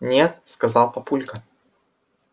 нет сказал папулька